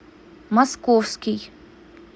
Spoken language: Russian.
московский